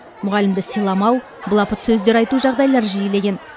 мұғалімді сыйламау былапыт сөздер айту жағдайлары жиілеген